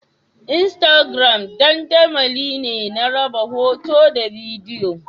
Instagram dandamali ne na raba hoto da bidiyo